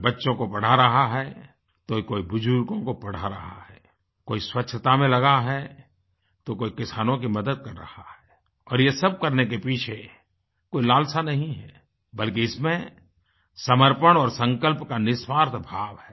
कोई बच्चों को पढ़ा रहा है तो कोई बुजुर्गों को पढ़ा रहा है कोई स्वच्छता में लगा है तो कोई किसानों की मदद कर रहा है और ये सब करने के पीछे कोई लालसा नहीं है बल्कि इसमें समर्पण और संकल्प का निःस्वार्थ भाव है